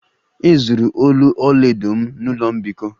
E zuru olu ọlaedo m n'ụlọ mbikọ